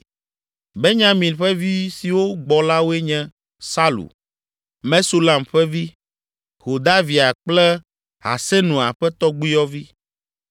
Benyamin ƒe vi siwo gbɔ la woe nye: Salu, Mesulam ƒe vi, Hodavia kple Hasenua ƒe tɔgbuiyɔvi,